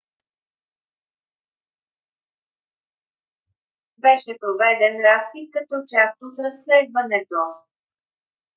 беше проведен разпит като част от разследването